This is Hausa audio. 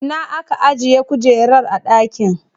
Ina aka ajiye kujerar a dakin?